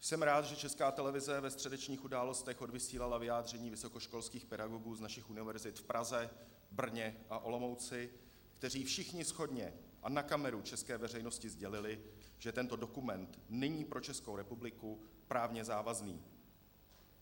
Jsem rád, že Česká televize ve středečních Událostech odvysílala vyjádření vysokoškolských pedagogů z našich univerzit v Praze, Brně a Olomouci, kteří všichni shodně a na kameru české veřejnosti sdělili, že tento dokument není pro Českou republiku právně závazný.